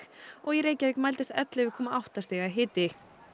og í Reykjavík mældist ellefu komma átta stiga hiti